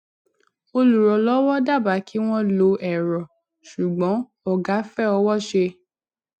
olùrànlówó dábàá kí wọn lo èrọ ṣùgbọn ògá fẹ ọwọṣe